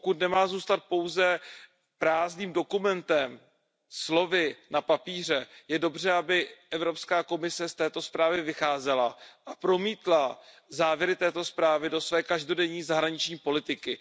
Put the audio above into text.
Pokud nemá zůstat pouze prázdným dokumentem, slovy na papíře, je dobře, aby Evropská komise z této zprávy vycházela a promítla závěry této zprávy do své každodenní zahraniční politiky.